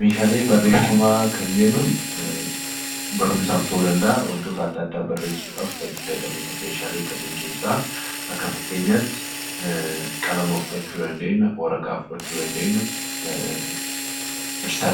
Meeshaalee barreeffamaa kan jennu barumsaaf ta'uu danda'a, wantoota adda addaa barreessuudhaaf kan itti fayyadamnudha. Meeshaale kanneen keessaa akka fakkeenyaatti qalama, waraqaa fi qubeessaa